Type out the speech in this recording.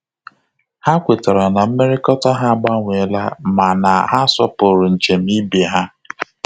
Ha kwetara na mmekọrịta ha agbanwe la mana ha sopuru njem ibe ha